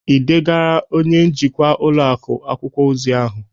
Ị degarala onye njikwa ụlọ akụ akwụkwọ ozi ahụ?